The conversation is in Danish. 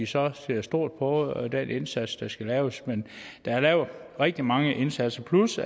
så ser stort på den indsats der skal laves der er lavet rigtig mange indsatser plus